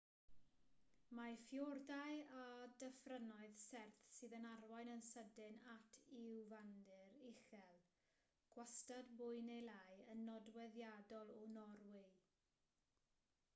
mae ffïordau a dyffrynoedd serth sydd yn arwain yn sydyn at lwyfandir uchel gwastad mwy neu lai yn nodweddiadol o norwy